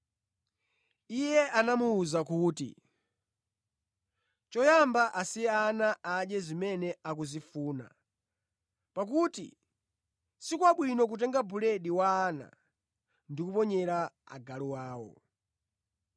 Iye anamuwuza kuti, “Choyamba asiye ana adye zimene akuzifuna, pakuti si kwabwino kutenga buledi wa ana ndi kuponyera agalu awo.”